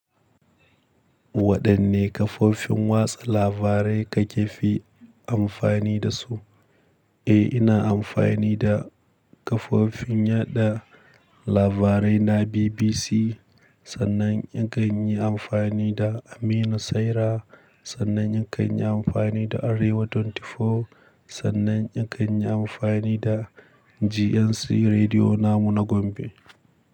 Waɗanne kafofin watsa labarai kakefi amfani dasu? Eh, ina amfani da kafofin yaɗa labarai na BBC, sannan in kan yi amfani da Amina Saira, sannan in kan yi amfani da Arewa 24, sannan in kan yi amfani da GNC Rediyo namu na Gombe.